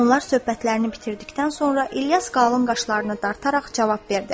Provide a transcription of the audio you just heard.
Onlar söhbətlərini bitirdikdən sonra İlyas qalın qaşlarını dartaraq cavab verdi: